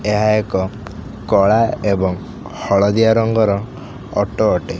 ଏହା ଏକ କଳା ଏବଂ ହଳଦିଆ ରଙ୍ଗର ଅଟୋ ଅଟେ।